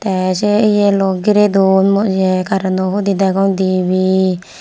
tey sey eyeloi girey don mu ye kareno hudi degong dibey.